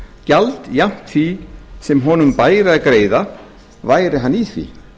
gjald jafnt því sem honum bæri að greiða væri hann í því